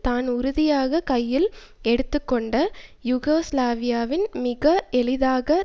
தான் உறுதியாக கையில் எடுத்தக்கொண்ட யூகோஸ்லாவியாவை மிக எளிதாக